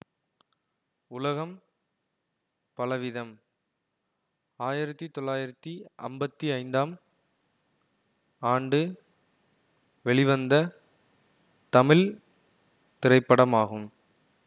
உலகம் பலவிதம் ஆயிரத்தி தொள்ளாயிரத்தி அம்பத்தி ஐந்தாம் ஆண்டு வெளிவந்த தமிழ் திரைப்படமாகும்